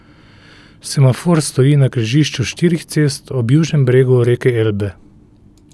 Semafor stoji na križišču štirih cest, ob južnem bregu reke Elbe.